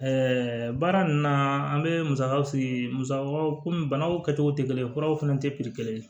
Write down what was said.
baara nunnu na an be musakaw fili musakaw komi banaw kɛcogo tɛ kelen ye kuraw fɛnɛ tɛ kelen ye